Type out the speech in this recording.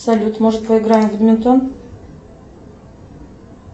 салют может поиграем в бадминтон